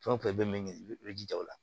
Fɛn o fɛn i bɛ min i bɛ jija o la